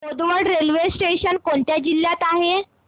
Bodwad railway station कोणत्या जिल्ह्यात आहे